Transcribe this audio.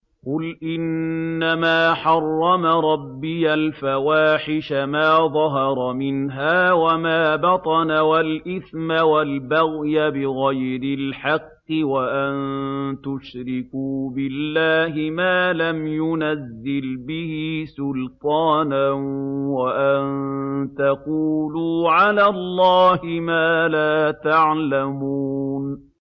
قُلْ إِنَّمَا حَرَّمَ رَبِّيَ الْفَوَاحِشَ مَا ظَهَرَ مِنْهَا وَمَا بَطَنَ وَالْإِثْمَ وَالْبَغْيَ بِغَيْرِ الْحَقِّ وَأَن تُشْرِكُوا بِاللَّهِ مَا لَمْ يُنَزِّلْ بِهِ سُلْطَانًا وَأَن تَقُولُوا عَلَى اللَّهِ مَا لَا تَعْلَمُونَ